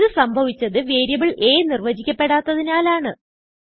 ഇത് സംഭവിച്ചത് variable a നിർവചിക്കപെടാത്തതിനാലാണ്